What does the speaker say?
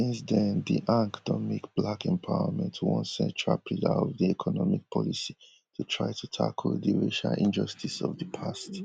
since den di anc don make black empowerment one central pillar of di economic policy to try to tackle di racial injustices of di past